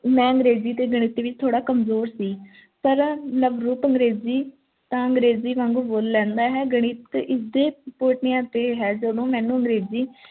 ਮੈ ਅੰਗਰੇਜ਼ੀ ਤੇ ਗਣਿਤ ਦੇ ਵਿੱਚ ਥੋੜਾ ਕਮਜ਼ੋਰ ਸੀ ਪਰ ਨਵਰੂਪ ਅੰਗਰੇਜ਼ੀ ਤਾਂ ਅੰਗਰੇਜ਼ੀ ਵਾਂਗੂੰ ਬੋਚ ਲੈਂਦਾ ਹੈ ਗਣਿਤ ਕਿਸ ਦੇ ਕੋਠਿਆਂ ਤੇ ਹੈ ਜਦੋਂ ਮੈਨੂੰ ਅੰਗਰੇਜ਼ੀ